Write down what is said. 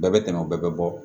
Bɛɛ bɛ tɛmɛ o bɛɛ bɛ bɔ